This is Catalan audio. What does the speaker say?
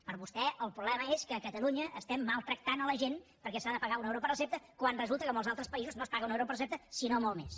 per vostè el problema és que a catalunya estem maltractant la gent perquè s’ha de pagar un euro per recepta quan resulta que a molts altres països no es paga un euro per recepta sinó molt més